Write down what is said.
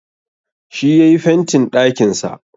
Shi yayi fentin ɗakin sa